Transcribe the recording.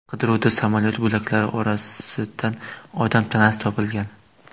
Qidiruvda samolyot bo‘laklari orasidan odam tanasi topilgan.